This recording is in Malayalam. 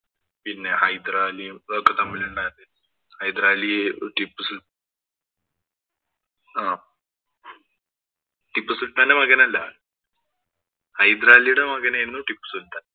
പിന്നെ ഹൈദരാലിയും ഇവരൊക്കെ തമ്മിലുണ്ടായിരുന്ന ഹൈദരാലിയെ ടിപ്പു സുല്‍ത്താന്‍ ആഹ് ടിപ്പു സുല്‍ത്താന്‍റെ മകനല്ല. ഹൈദരാലിയുടെ മകനായിരുന്നു ടിപ്പു സുല്‍ത്താന്‍.